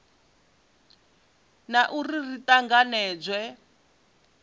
na u ri ri tanganedzwe